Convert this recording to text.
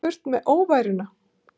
Burt með óværuna.